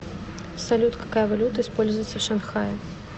салют какая валюта используется в шанхае